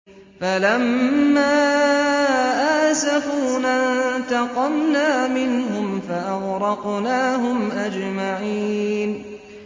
فَلَمَّا آسَفُونَا انتَقَمْنَا مِنْهُمْ فَأَغْرَقْنَاهُمْ أَجْمَعِينَ